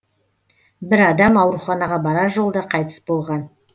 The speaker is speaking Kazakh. бір адам ауруханаға барар жолда қайтыс болған